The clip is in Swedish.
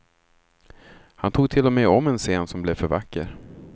Han tog till och med om en scen som blev för vacker.